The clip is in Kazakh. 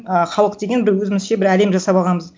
ыыы халық деген бір өзімізше бір әлем жасап алғанбыз